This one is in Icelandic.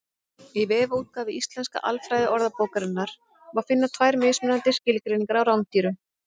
Í vefútgáfu Íslensku alfræðiorðabókarinnar má finna tvær mismunandi skilgreiningar á rándýrum.